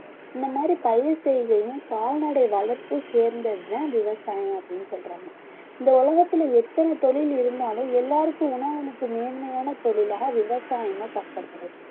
இந்த மாதிரி பயிர் செய்கையும் கால்நடை வளர்ப்பும் சேர்ந்ததுதான் விவசாயம் அப்படின்னு சொல்றாங்க இந்த உலகத்தில எத்தன தொழில் இருந்தாலும் எல்லாருக்கும் உணவளிக்கும் மேன்மையான தொழிலாக விவசாயம் தான் கருதப்படுது